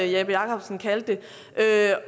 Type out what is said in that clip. jeppe jakobsen kaldte det